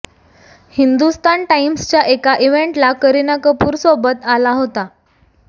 हिंदुस्तान टाईम्सच्या एका इव्हेंटला करीना कपूर सोबत आला होता